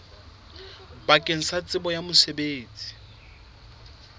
bakeng la tsebo ya mosebetsi